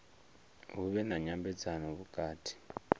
hu vhe na nyambedzano vhukati